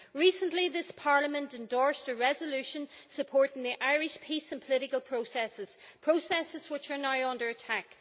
Recently this Parliament endorsed a resolution supporting the Irish peace and political processes processes which are now under attack.